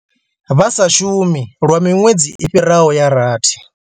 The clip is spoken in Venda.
Vha sa shumi lwa miṅwedzi i fhiraho ya rathi.